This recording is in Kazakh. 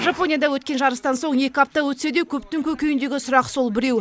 жапонияда өткен жарыстан соң екі апта өтсе де көптің көкейіндегі сұрақ сол біреу